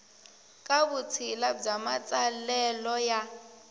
ka vutshila bya matsalelo ya